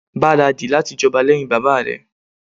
Gbaradi láti jọba lẹ́hìn bàbá rẹ̀.